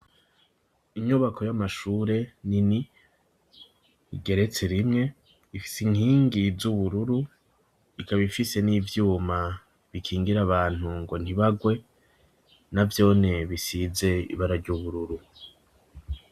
Inyubako y'amashure nini, igeretse rimwe, ifise inkingi z'ubururu, ikaba ifise n'ivyuma bikingira abantu ngo ntibagwe na vyone bisize ibara ry’ubururu.